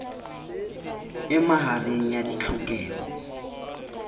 e ma hareng ya ditlhokeho